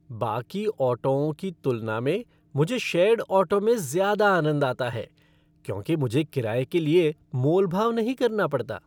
बाकी ऑटोओं की तुलना में मुझे शेयर्ड ऑटो में ज़्यादा आनंद आता है क्योंकि मुझे किराये के लिए मोल भाव नहीं करना पड़ता।